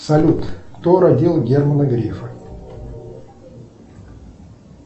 салют кто родил германа грефа